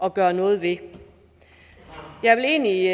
at gøre noget ved jeg vil egentlig